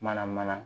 Mana mana